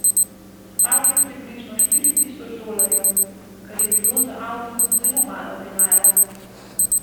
Stal je približno štiri tisoč dolarjev, kar je bilo za avto zelo malo denarja.